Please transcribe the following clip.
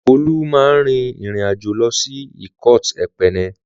Olú máa rin ìrìn àjò lọ sí ikot-ekpene.